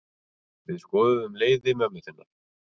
Við skoðuðum leiði mömmu þinnar.